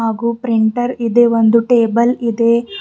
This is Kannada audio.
ಹಾಗೂ ಪ್ರಿಂಟರ್ ಇದೆ ಒಂದು ಟೇಬಲ್ ಇದೆ.